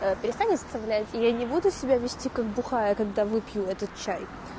перестань оскорблять и я не буду себя вести как бухая когда выпью этот чай